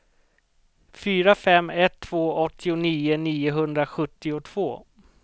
fyra fem ett två åttionio niohundrasjuttiotvå